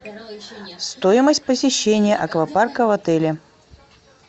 стоимость посещения аквапарка в отеле